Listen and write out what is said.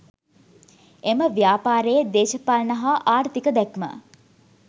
එම ව්‍යාපාරයේ දේශපාලන හා ආර්ථික දැක්ම